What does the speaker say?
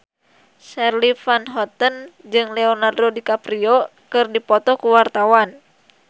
Charly Van Houten jeung Leonardo DiCaprio keur dipoto ku wartawan